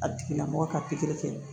A tigila mɔgɔ ka pikiri kɛ